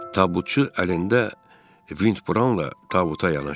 Tabutçu əlində vintla tabuta yanaşdı.